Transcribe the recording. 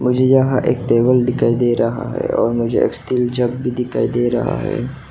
मुझे यहां एक टेबल दिखाई दे रहा है और मुझे एक स्टील जग भी दिखाई दे रहा है।